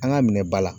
An ka minɛ ba la